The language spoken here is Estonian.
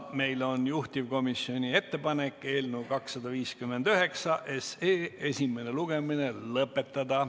Meil on juhtivkomisjoni ettepanek eelnõu 259 esimene lugemine lõpetada.